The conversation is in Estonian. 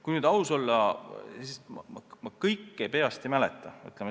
Kui nüüd aus olla, siis ma kõike peast ei mäleta.